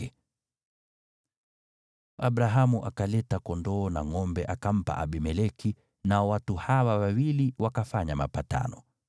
Hivyo Abrahamu akaleta kondoo na ngʼombe, akampa Abimeleki, nao watu hawa wawili wakafanya mapatano.